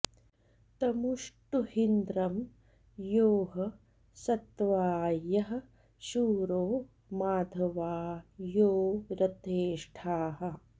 तमु ष्टुहीन्द्रं यो ह सत्वा यः शूरो मघवा यो रथेष्ठाः